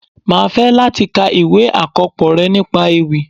Máa fẹ́ láti ka ìwé àkópọ̀ rẹ nípa ewì.